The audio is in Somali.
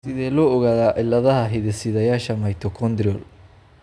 Sidee loo ogaadaa cilladaha hidde-sideyaasha mitochondrial?